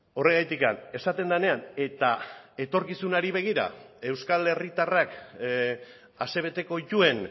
horregatik esaten denean eta etorkizunari begira euskal herritarrak asebeteko dituen